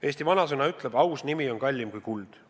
Eesti vanasõna ütleb: "Aus nimi on kallim kui kuld.